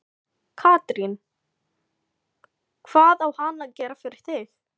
Katrín: Hvað á hann að gera fyrir þig?